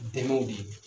Dɛmɛw de ye